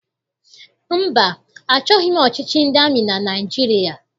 Mba, achọghị m ọchịchị ndị amị na Naịjirịa.